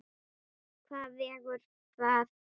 Hvað vegur þar þyngst?